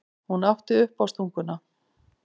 Hún átti uppástunguna.